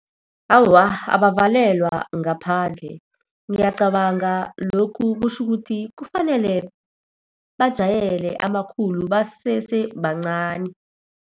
Awa, abavalelwa ngaphandle. Ngiyacabanga lokhu kutjho ukuthi kufanele bajayele amakhulu basese bancani.